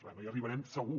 va no hi arribarem segur